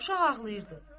Uşaq ağlayırdı.